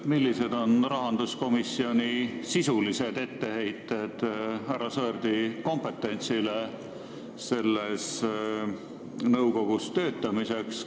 Millised on rahanduskomisjoni sisulised etteheited härra Sõerdi kompetentsile selles nõukogus töötamisel?